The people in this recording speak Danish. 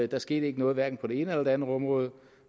der skete hverken på det ene eller andet område